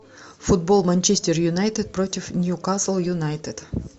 футбол манчестер юнайтед против ньюкасл юнайтед